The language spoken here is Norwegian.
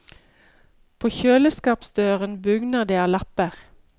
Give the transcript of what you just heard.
På kjøleskapsdøren bugner det av lapper.